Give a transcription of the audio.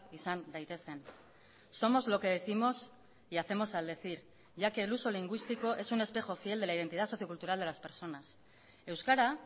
izan daitezen somos lo que décimos y hacemos al decir ya que el uso lingüístico es un espejo fiel de la identidad socio cultural de las personas euskara